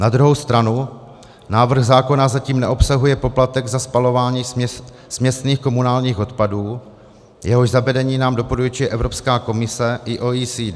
Na druhou stranu návrh zákona zatím neobsahuje poplatek za spalování směsných komunálních odpadů, jehož zavedení nám doporučuje Evropská komise i OECD.